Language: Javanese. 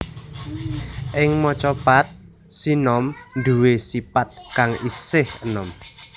Ing Macapat sinom nduwé sipat kang isih enom